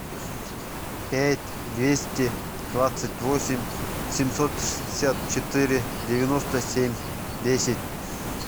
пять двести двадцать восемь семьсот шестьдесят четыре девяносто семь десять